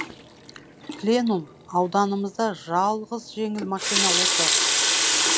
пленум ауданымызда жалғыз жеңіл машина осы